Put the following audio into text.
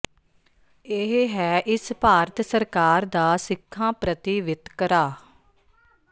ਇਹ ਹੈ ਇਸ ਭਾਰਤ ਸਰਕਾਰ ਦਾ ਸਿੱਖਾਂ ਪ੍ਰਤੀ ਵਿਤਕਰਾ